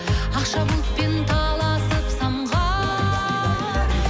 ақша бұлтпен таласып самға